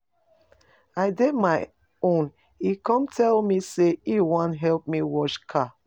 I dey my own he come tell me say him wan help me wash car.